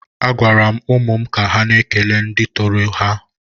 A gwara m ụmụ m ka ha na-ekele ndị tọrọ ha.